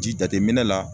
Ji jateminɛ la